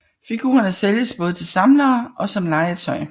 Figurerne sælges både til samlere og som legetøj